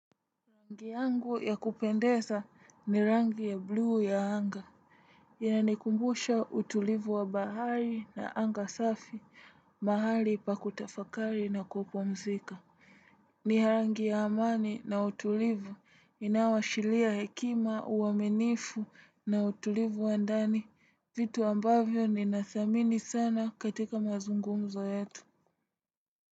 Rangi yangu ya kupendeza ni rangi ya blue ya anga. Inanikumbusha utulivu wa bahari na anga safi, mahali pa kutafakari na kupomzika. Ni rangi ya amani na utulivu inawashilia hekima uwaminifu na utulivu wa ndani, vitu ambavyo ninathamini sana katika mazungumzo yetu.